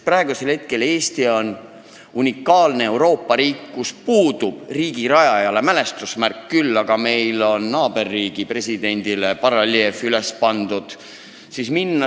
Praegu on Eesti unikaalne Euroopa riik, kus puudub riigi rajajale mälestusmärk, küll aga on meil naaberriigi kunagisele presidendile bareljeef üles pandud.